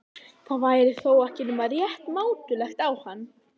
Það væri þá ekki nema rétt mátulegt á hann.